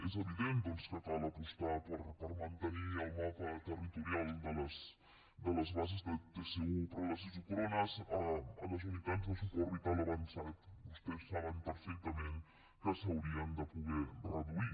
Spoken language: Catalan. és evident doncs que cal apostar per mantenir el mapa territorial de les bases de tsu però les isòcrones a les unitats de suport vital avançat vostès saben perfectament que s’haurien de poder reduir